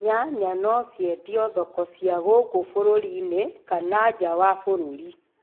Nyanya no ciendio thoko cia guku bũrũri-inĩ kana nja wa bũrũri.